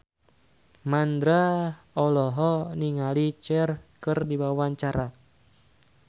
Mandra olohok ningali Cher keur diwawancara